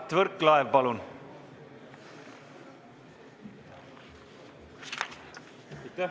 Mart Võrklaev, palun!